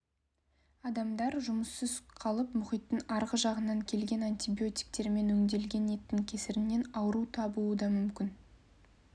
адамдар жұмыссыз қалып мұхиттың арғы жағынан келген антибиотиктермен өңделген еттің кесірінен ауру табуы да мүмкін